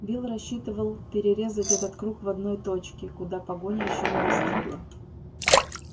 билл рассчитывал перерезать этот круг в одной точке куда погоня ещё не достигла